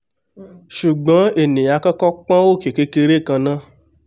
ṣùgbọ́n ènià á kọ́kọ́ pọ́n òkè kékeré kan ná